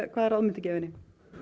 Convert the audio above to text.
hvaða ráð muntu gefa henni